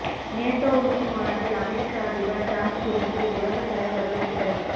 NATO உச்சி மாநாட்டில் அமெரிக்க அதிபர் ட்ரம்ப் குறித்து உலகத் தலைவர்கள் கிண்டல்